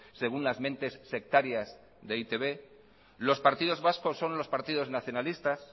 según las mentes sectarias de e i te be los partidos vascos son los partidos nacionalistas